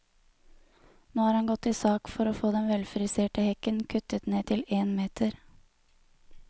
Nå har han gått til sak for å få den velfriserte hekken kuttet ned til én meter.